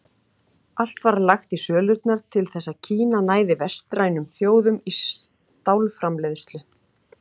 Allt var lagt í sölurnar til þess að Kína næði vestrænum þjóðum í stálframleiðslu.